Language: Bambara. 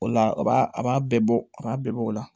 O la a b'a a b'a bɛɛ bɔ a b'a bɛɛ bɔ o la